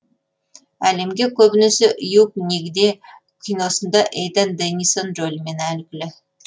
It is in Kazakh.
әлемге көбінесе юг нигде киносында эйдан дэннисон рөлімен әйгілі